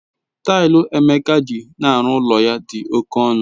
Tailu okoro eji n'ulo ya di oke onu.